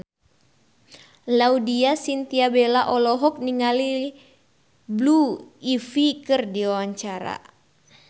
Laudya Chintya Bella olohok ningali Blue Ivy keur diwawancara